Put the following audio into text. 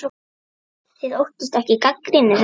Þið óttist ekki gagnrýni þeirra?